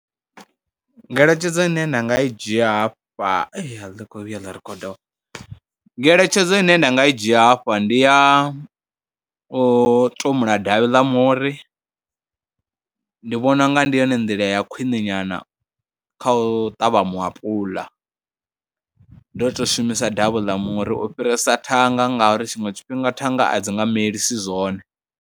Ngeletshedzo ine nda nga i dzhia hafha, a ḽi khou vhuya ḽa rikhoda, ngeletshedzo ine nda nga i dzhia hafha ndi ya u tumula davhi ḽa muri, ndi vhona u nga ndi yone nḓila ya khwiṋe nyana kha u ṱavha muapuḽa, ndo to shumisa davhi ḽa muri u fhirisa thanga ngauri tshiṅwe tshifhinga thanga a dzi nga melise zwone.